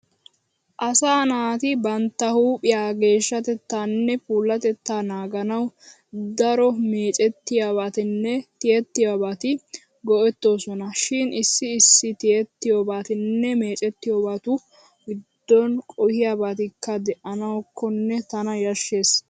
Asaa naati bantta huuphiya geeshshatettaanne puulatettaa naaganawu daro meecettiyobatanne tiyettiyobata go'ettoosona. Shin issi issi tiyettiyobattinne meecettiyobatu giddon qohiyabatikka de'anaakkonne tana yashshees!